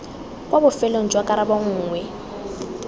kwa bofelong jwa karabo nngwe